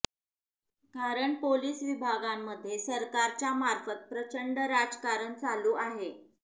कारण पोलीस विभागांमध्ये सरकारच्या मार्फत प्रचंड राजकारण चालू आहे